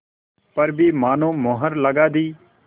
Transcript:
पर भी मानो मुहर लगा दी